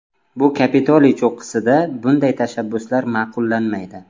Bu Kapitoliy cho‘qqisida bunday tashabbuslar ma’qullanmaydi.